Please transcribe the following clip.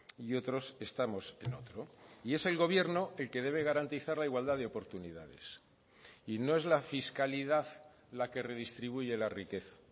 y otros estamos en otro y es el gobierno el que debe garantizar la igualdad de oportunidades y no es la fiscalidad la que redistribuye la riqueza